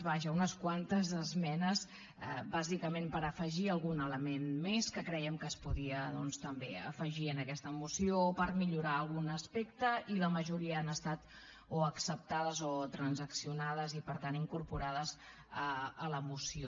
vaja unes quantes esmenes bàsicament per afegir algun element més que crèiem que es podia doncs també afegir en aquesta moció per millorar ne algun aspecte i la majoria han estat o acceptades o transaccionades i per tant incorporades a la moció